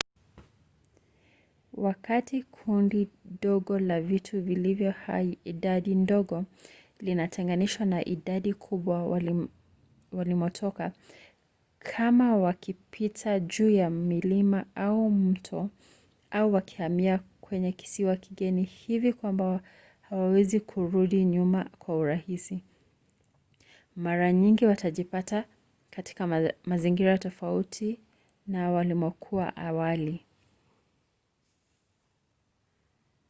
wakati kundi dogo la vitu vilivyo hai idadi ndogo linatenganishwa na idadi kubwa walimotoka kama wakipita juu ya milima au mto au wakihamia kwenye kisiwa kigeni hivi kwamba hawawezi kurudi nyuma kwa urahisi mara nyingi watajipata katika mazingira tofauti na walimokuwa awali